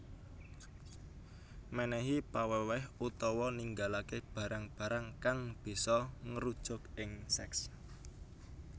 Menehi paweweh utawa ninggalake barang barang kang bisa ngrujuk ing seks